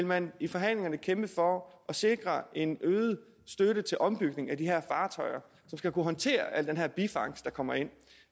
man i forhandlingerne vil kæmpe for at sikre en øget støtte til ombygning af de her fartøjer som skal kunne håndtere al den her bifangst der kommer ind